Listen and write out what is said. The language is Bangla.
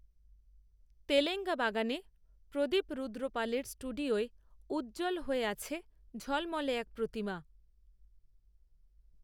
তেলেঙ্গাবাগানে প্রদীপরুদ্রপালের স্টুডিওয়উজ্জ্বল হয়ে আছেঝলমলে এক প্রতিমা